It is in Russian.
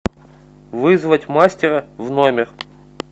вызвать мастера в номер